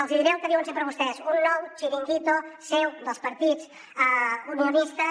els hi diré el que diuen sempre vostès un nou chiringuito seu dels partits unionistes